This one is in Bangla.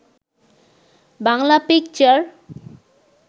বাংলা পিকচার